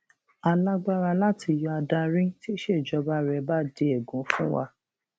a lágbára láti yọ adarí tíṣèjọba rẹ bá di ègún fún wa